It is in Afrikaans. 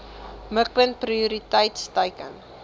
mikpunt prioriteit teiken